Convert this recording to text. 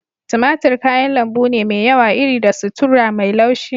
Tumatir kayan lambu ne mai yawa iri da sutura mai laushi.